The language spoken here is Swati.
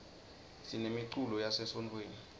sinemiculo yase sontfweni